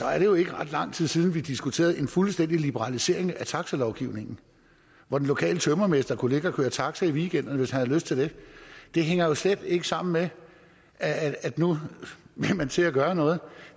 at det jo ikke er ret lang tid siden at vi diskuterede en fuldstændig liberalisering af taxalovgivningen hvor den lokale tømrermester kunne ligge og køre taxa i weekenderne hvis han havde lyst til det det hænger jo slet ikke sammen med at nu vil man til at gøre noget